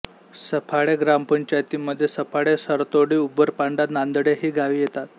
सफाळे ग्रामपंचायतीमध्ये सफाळे सरतोडी उंबरपाडा नांदडे ही गावे येतात